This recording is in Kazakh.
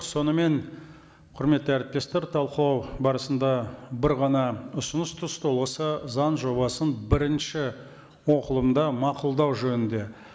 сонымен құрметті әріптестер талқылау барысында бір ғана ұсыныс түсті осы заң жобасын бірінші оқылымда мақұлдау жөнінде